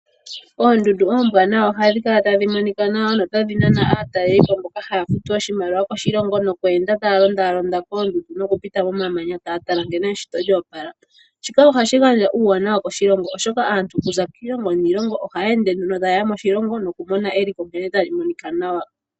Oondundu oombwanawa ohadhi kala tadhi monika nawa notadhi nana aataleli po, mboka haya futu oshimaliwa koshilongo nokweenda taya londalonda koondundu nokupita momamanya, taya tala nkene eshito lyoopala. Shika ohashi gandja uuwanawa koshilongo oshoka aantu okuza kiilongo niilongo ohaya ende taye ya moshilongo noku mona eliko nkene tali monika nawa.